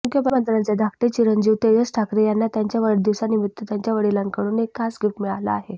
मुख्यमंत्र्यांचे धाकटे चिरंजीव तेजस ठाकरे यांना त्यांच्या वाढदिवसानिमित्त त्यांच्या वडिलांकडून एक खास गिफ्ट मिळालं आहे